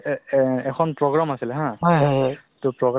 তোমাৰ ৰাতি অলপ মোৰ late night মানে শুতো বহুত কাম থাকেতো